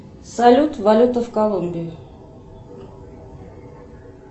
салют валюта в колумбии